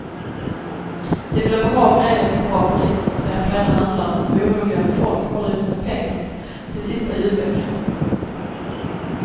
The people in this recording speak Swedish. De vill ha bra grejer till bra priser, säger flera handlare som är oroliga att folk håller i sina pengar till sista julveckan.